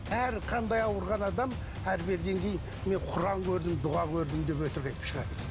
әр қандай ауырған адам әрі беріден кейін мен құран көрдім дұға көрдім деп өтірік айтып шығады